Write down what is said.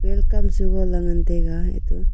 kam suga le ngan tega eto.